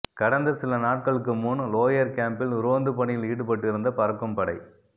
கடந்த சில நாட்களுக்கு முன் லோயர்கேம்பில் ரோந்து பணியில் ஈடுபட்டிருந்த பறக்கும்படை